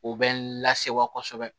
O bɛ lasewa kosɛbɛ